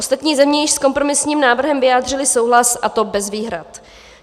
Ostatní země již s kompromisním návrhem vyjádřily souhlas, a to bez výhrad.